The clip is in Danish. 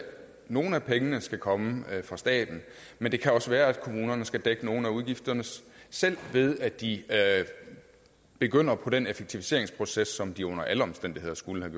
nogle af pengene skal komme fra staten men det kan også være at kommunerne skal dække nogle af udgifterne selv ved at de begynder på den effektiviseringsproces som de under alle omstændigheder skulle have